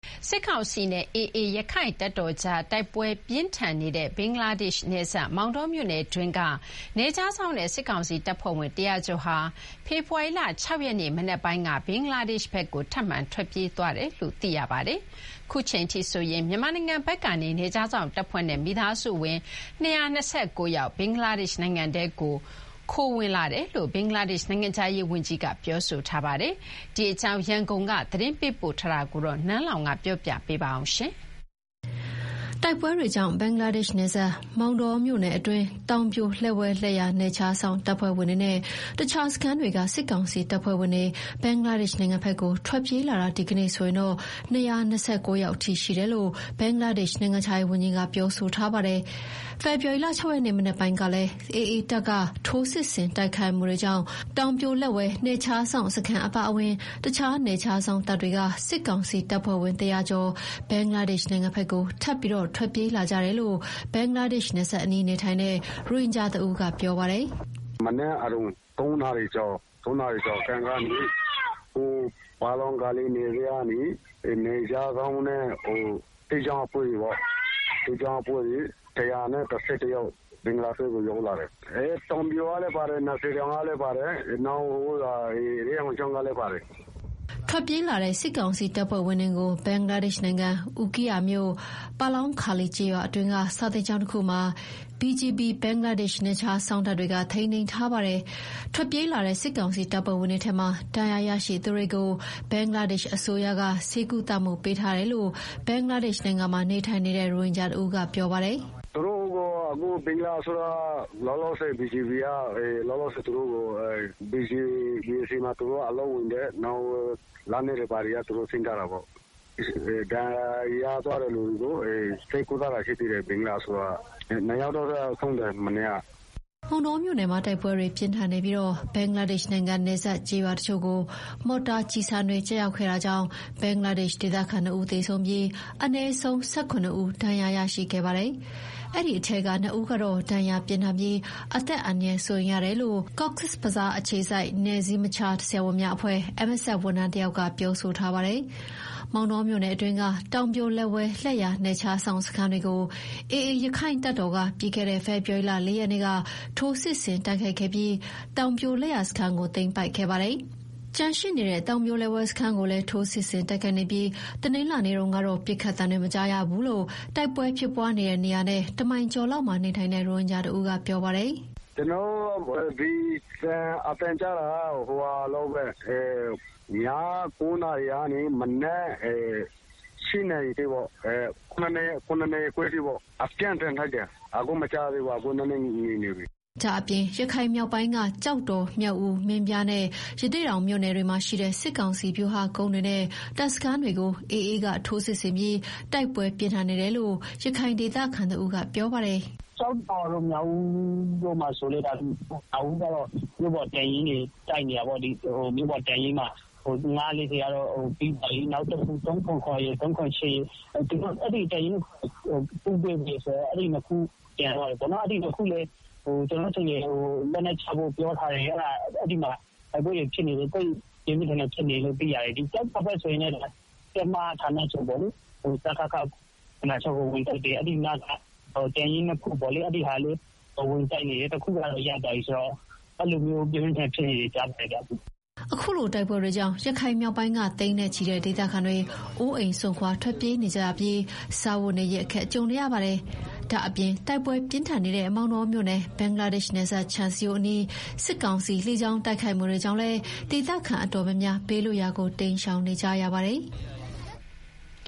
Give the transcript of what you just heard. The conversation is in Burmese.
စစ်ကောင်စီနဲ့ AA ရက္ခိုင့်တပ်တော်ကြား တိုက်ပွဲပြင်းထန်နေတဲ့ ဘင်္ဂလားဒေ့ရှ် နယ်စပ် မောင်တောမြို့နယ်အတွင်းက နယ်ခြားစောင့်နဲ့ စစ်ကောင်စီတပ်ဖွဲ့ဝင် ၁ဝဝ ကျော်ဟာ ဖေဖော်ဝါရီလ ၆ ရက်နေ့မနက်ပိုင်းက ဘင်္ဂလားဒေ့ရ်ှဘက်ကို ထပ်မံထွက်ပြေးလာတယ်လို့ သိရပါတယ်။ ခုအချိန်အထိဆိုရင် မြန်မာနိုင်ငံဘက်ကနေ နယ်ခြားစောင့်တပ်ဖွဲ့နဲ့ မိသားစုဝင် ၂၂၉ ယောက် ဘင်္ဂလားဒေ့ရှ်နိုင်ငံထဲကို ခိုဝင်လာတယ်လို့ ဘင်္ဂလားဒေ့ရှ် နိုင်ငံခြားရေးဝန်ကြီးက ပြောထားပါတယ်။ ဒီအကြောင်း ရန်ကုန် သတင်းပေးပို့တာကို နန်းလောဝ်က တင်ပြပေးထားပါတယ်။ တိုက်ပွဲတွေကြောင့် ဘင်္ဂလားဒေ့ရှ်နယ်စပ် မောင်တောမြို့နယ်အတွင်း တောင်ပြို လက်ဝဲ-လက်ယာ နယ်ခြားစောင့်တပ်ဖွဲ့ဝင်တွေနဲ့ တခြားစခန်းတွေက စစ်ကောင်စီတပ်ဖွဲ့တွေ ဘင်္ဂလားဒေ့ရှ်နိုင်ငံဘက်ကို ထွက်ပြေးလာတာ ဒီကနေ့ဆိုရင် ၂၂၉ ယောက်အထိ ရှိတယ်လို့ ဘင်္ဂလားဒေ့ရှ် နိုင်ငံခြားရေးဝန်ကြီးက ပြောပါတယ်။ ဖေဖော်ဝါရီ ၆ ရက်နေ့ မနက်ပိုင်းကလည်း AA တပ်က ထိုးစစ်ဆင်တိုက်ခိုက်မှုကြောင့် တောင်ပြိုလက်ဝဲနယ်ခြားစောင့်စခန်းအပါဝင် တခြားနယ်ခြားစောင့်တပ်တွေက စစ်ကောင်စီတပ်ဖွဲ့ဝင် ၁ဝဝ ကျော် ဘင်္ဂလားဒေရှ့် နိုင်ငံဘက်ကို ထပ်မံထွက်ပြေးလာကြတယ်လို့ ဘင်္ဂလာဒေ့ရှ်နယ်စပ်နားမှာနေထိုင်တဲ့ ရိုဟင်ဂျာတဦးကပြောပါတယ်။ “မနက်အရုဏ် ၃ နာရီကျော်ခန့်ကနေ ပါလောင်ဂါလီနယ်စပ်ကနေ နယ်ခြားစောင့်နဲ့ စစ်ကြောင်းအဖွဲ့တွေပေါ့၊ ၁၁၁ ယောက် ဘင်္ဂလားဘက်ကို ရောက်လာတယ်။ တောင်ပြိုကလည်းပါတယ်။ နံသာတောင်ကလည်းပါတယ်။ ရဲအောင်ချောင်းကလည်းပါတယ်။” ထွက်ပြေးလာတဲ့ စစ်ကောင်စီတပ်ဖွဲ့ဝင်တွေကို ဘင်္ဂလားဒေ့ရှ်နိုင်ငံ အူကီးယာမြို့၊ ပါလောင်းခါလီကျေးရွာအတွင်းက စာသင်ကျောင်းတခုမှာ BGB ဘင်္ဂလားဒေ့ရှ်နယ်ခြားစောင့်တပ်တွေက ထိန်းသိမ်းထားတာပါ။ ထွက်ပြေးလာတဲ့ စစ်ကောင်စီတပ်ဖွဲ့ဝင်တွေထဲမှာ ဒဏ်ရာရရှိသူတွေကို ဘင်္ဂလားဒေ့ရှ်အစိုးရက ဆေးကုသပေးထားကြောင်း ဘင်္ဂလားဒေ့ရှ်နိုင်ငံမှာနေထိုင်တဲ့ ရိုဟင်ဂျာတဦးကပြောပါတယ်။ “ရောက်လာတဲ့သူတွေကို လောလောဆယ် BGB က လက်နက်တွေဘာတွေ သိမ်းပြီးတော့ ဒဏ်ရာရလာတဲ့သူတွေကို ဆေးကုပေးတာရှိတယ်။ ဘင်္ဂလားအစိုးရက။ နှစ်ယောက်တော့ ဆုံးသွားတယ် မနေ့က။” မောင်တောမြို့နယ်မှာ တိုက်ပွဲတွေပြင်းထန်နေပြီး ဘင်္ဂလားဒေ့ရှ်နိုင်ငံ နပ်စပ် ကျေးရွာတချို့ကို မော်တာကျည်ဆံတွေ ကျရောက်ခဲ့တာကြောင့် ဘင်္ဂလားဒေ့ရှ်ဒေသခံနှစ်ဦး သေဆုံးပြီး အနည်းဆုံး ၁၇ ဦးအထိ ဒဏ်ရာရရှိခဲ့ပါတယ်။ အဲဒီထဲကနှစ်ဦးကတေ့ ဒဏ်ရာပြင်းထန်ပြီး အသက်အန္တရာယ်စိုးရိမ်ရတယ်လို့ Cox’s Bazar အခြေစိုက် MSF အဖွဲ့ဝန်ထမ်းတယောက်က ပြောဆိုထားပါတယ်။ မောင်တောမြို့နယ်အတွင်းက တောင်ပြို လက်ဝဲ-လက်ယာ နယ်ခြားစောင့်စခန်းတွေကို AA ရက္ခိုင့်တပ်တော်က ပြီးခဲ့တဲ့ ဖေဖော်ဝါရီလ ၄ ရက်နေ့က ထိုးစစ်ဆင်တိုက်ခိုက်ခဲ့ပြီး တောင်ပြိုလက်ယာစခန်းကို သိမ်းပိုက်ခဲ့ပါတယ်။ ကျန်ရှိနေတဲ့ တောင်ပြိုလက်ဝဲစခန်းကိုလည်း ထိုးစစ်ဆင်တိုက်ခိုက်နေပြီး မနေ့ကတော့ ပစ်ခတ်သံတွေ မကြားရတော့ဘူးလို့ တိုက်ပွဲဖြစ်ပွားနေတဲ့ နေရာနဲ့ တမိုင်ကျော်လောက်မှာနေထိုင်တဲ့ ရိုဟင်ဂျာတဦးကပြောပါတယ်။ “ကျနော်တို့ အသံကြားတာကတာ့ မနေ့က ည ၉ နာရီလောက်ကနေ ဒီမနက် ခုနစ်နာရီခွဲအထိ အသံကြားတယ်၊ အပြင်းအထန်တိုက်တယ်။ အခုတော့ မကြားရတော့ဘူး။ ငြိမ်နေပြီ။” ဒါ့အပြင် ရခိုင်မြောက်ပိုင်းက ကျောက်တော်၊ မြောက်ဦး၊ မင်းပြားနဲ့ ရသေ့တောင် မြို့နယ်တွေမှာရှိတဲ့ စစ်ကောင်စီ ဗျူဟာကုန်းတွေနဲ့ တပ်စခန်းတွေကို AA က ထိုးစစ်ဆင်ပြီး တိုက်ပွဲပြင်းထန်နေတယ်လို့ ရခိုင်ဒေသခံတဦးကပြောပါတယ်။ “ ကျောက်တော်တို့၊ မြောက်ဦးတို့မှာလည်း မြို့ပေါ်တပ်ရင်းတွေကို တိုက်နေတယ်။ မြောက်ဦးမှာဆိုရင် တပ်ရင်းကတော့ ရသွားပြီ။ နောက်တခု ရယ် ရယ် အဲဒီတပ်ရင်းနှစ်ခုကျန်တယ်။ အဲဒီနှစ်ခုကိုလည်း လက်နက်ချဖို့ပြောထားတယ်။ အဲဒီမှာ တိုက်ပွဲတွေ ပြင်းပြင်းထန်ထန်ဖြစ်နေတယ်။ ကျောက်တော်ဘက်ဆိုရင်လည်း တင်းမဌာနချုပ်ကို ဝင်တိုက်တယ်။ အဲဒီနားက တပ်ရင်းနှစ်ခုကိုလည်း ဝင်တိုက်နေတယ်။ တခုကတော့ ရသွားပြီ။ အဲလို ပြင်းပြင်းထန်ထန်ဖြစ်နေတယ်လို့ ကြားပါတယ်ဗျာ။” အခုလိုတိုက်ပွဲတွေကြောင့် ရခိုင်မြောက်ပိုင်းက သိန်းနဲ့ချီတဲ့ ဒေသခံတွေ အိုးအိမ်စွန့်ခွာ ထွက်ပြေးနေကြရပြီး စားဝတ်နေရေး အခက်ကြုံနေကြရပါတယ်။ ဒါ့အပြင် တိုက်ပွဲပြင်းထန်နေတဲ့ မောင်တောမြို့နယ် ဘင်္ဂလားဒေ့ရှ်နယ်စပ် ခြံစည်းရိုးအနီး စစ်ကောင်စီ လေကြောင်းတိုက်ခိုက်မှုတွေကြောင့်လည်း ဒေသခံတော်တော်များများ ဘေးလွတ်ရာကို တိမ်းရှောင်နေကြရပါတယ်။